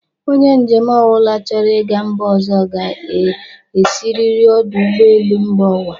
ọnye njem ọbụla chọrọ ịga mba ọzọ ga-esiriri ọdụ ụgbọelu mba ụwa.